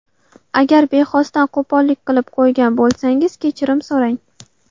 Agar bexosdan qo‘pollik qilib qo‘ygan bo‘lsangiz kechirim so‘rang.